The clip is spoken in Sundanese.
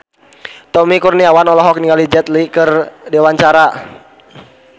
Tommy Kurniawan olohok ningali Jet Li keur diwawancara